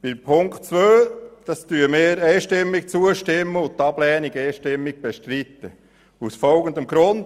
Ziffer 2 stimmen wir einstimmig zu und bestreiten die Abschreibung einstimmig aus folgendem Grund: